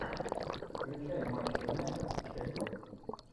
включай матч юнайтед шеффилд